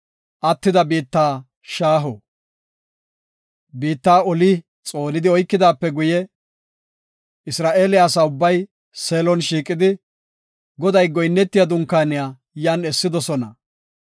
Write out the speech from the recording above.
Biitta oli xoonidi oykidaape guye, Isra7eele asa ubbay Seelon shiiqidi, Goda goyinno dunkaaniya yan essidosona.